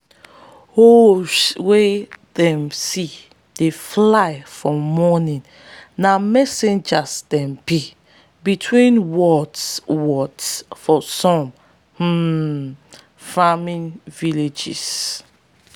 owls wey them see dey fly for morning na messengers them be between worlds worlds for some um farming villages.